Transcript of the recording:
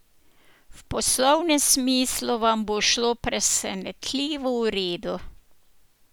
V poslovnem smislu vam bo šlo presenetljivo v redu.